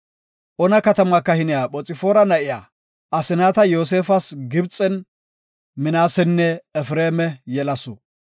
Ona katama kahine Phoxfaara na7iya Asnaata Yoosefas Gibxen Minaasenne Efreema yelasu.